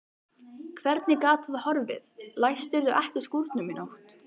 Hvernig gat það horfið, læstirðu ekki skúrnum í nótt?